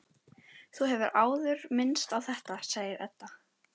Þú hefur áður minnst á þetta, segir Edda.